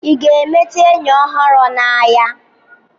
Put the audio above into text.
ị ga-emeta enyi ọhụrụ n'ahịa?